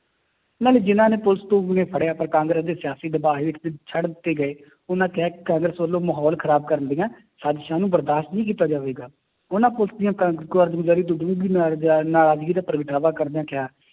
ਨਾਲੇ ਜਿੰਨਾਂ ਨੇ ਫੜਿਆ ਪਰ ਕਾਂਗਰਸ ਦੇ ਸਿਆਸੀ ਦਬਾਅ ਹੇਠ ਦੇ ਛੱਡ ਦਿੱਤੇ ਗਏ ਉਹਨਾਂ ਕਿਹਾ ਕਿ ਕਾਂਗਰਸ ਵੱਲੋਂ ਮਾਹੌਲ ਖ਼ਰਾਬ ਕਰਨ ਦੀਆਂ ਸਾਜ਼ਿਸ਼ਾਂ ਨੂੰ ਬਰਦਾਸ਼ਤ ਨਹੀਂ ਕੀਤਾ ਜਾਵੇਗਾ ਉਹਨਾਂ ਪੁਲਿਸ ਦੀਆਂ ਕਾਰਜਗੁਜ਼ਾਰੀ ਨਰਾਜ਼ਗੀ ਦਾ ਪ੍ਰਗਟਾਵਾ ਕਰਦਿਆਂ ਕਿਹਾ